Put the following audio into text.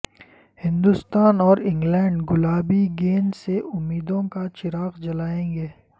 ہندوستان اور انگلینڈ گلابی گیند سے امیدوں کا چراغ جلائیں گے